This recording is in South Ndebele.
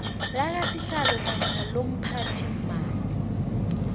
lakasihlalo namkha lomphathiimali